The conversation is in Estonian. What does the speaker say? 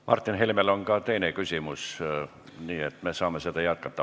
Martin Helmel on ka teine küsimus, nii et me saame seda teemat jätkata.